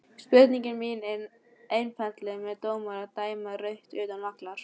Spurningin mín er einfaldlega má dómari dæma rautt utan vallar?